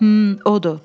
Hmm, odur.